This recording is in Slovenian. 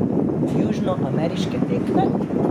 Južnoameriške tekme?